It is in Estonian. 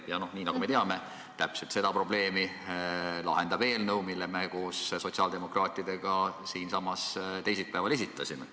Ja nagu me teame, just seda probleemi püüab lahendada eelnõu, mille me koos sotsiaaldemokraatidega siinsamas teisipäeval esitasime.